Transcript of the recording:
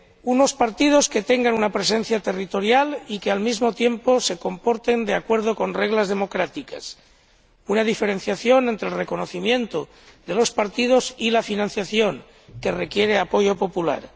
unos partidos que tengan una presencia territorial y que, al mismo tiempo, se comporten de acuerdo con reglas democráticas, una diferenciación entre el reconocimiento de los partidos y la financiación, que requiere apoyo popular.